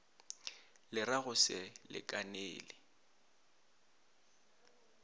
le ra go se lekanele